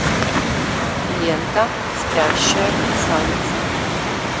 лента спящая красавица